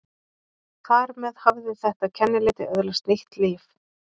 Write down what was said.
Þar með hafði þetta kennileiti öðlast nýtt líf.